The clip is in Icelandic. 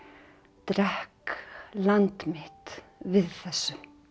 drekk land mitt við þessu